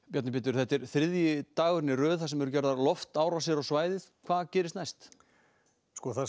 Bjarni Pétur þetta er þriðji dagurinn í röð sem Rússar gera loftárásir á svæðið hvað gerist næst það